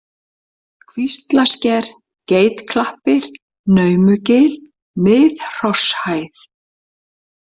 Kvíslaver, Geitklappir, Naumugil, Mið-Hrosshæð